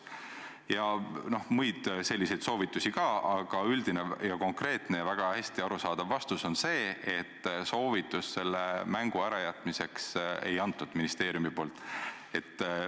" Ja muid selliseid soovitusi oli ka, aga üldine, konkreetne ja väga hästi arusaadav vastus on see, et soovitust selle mängu ärajätmiseks ministeerium ei andnud.